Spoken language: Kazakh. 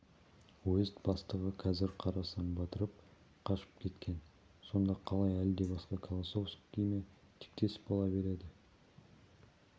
уезд бастығы қазір қарасын батырып қашып кеткен сонда қалай әлде басқа колосовский ме тектес бола береді